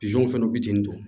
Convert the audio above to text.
fɛnw fitinin don